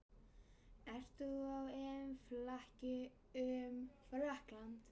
Ert þú á EM-flakki um Frakkland?